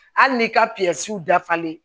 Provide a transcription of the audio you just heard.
Hali n'i ka dafalen